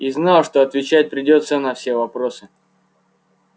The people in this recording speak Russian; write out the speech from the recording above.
и знал что отвечать придётся на все вопросы